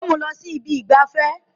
Ó mú un lọ sí ibi ìgbafẹ́